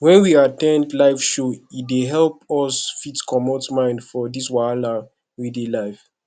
when we at ten d live show e dey help us fit comot mind from di wahala wey dey life